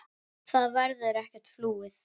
Það verður ekkert flúið.